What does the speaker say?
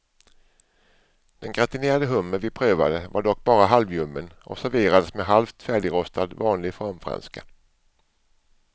Den gratinerade hummer vi prövade var dock bara halvljummen och serverades med halvt färdigrostad vanlig formfranska.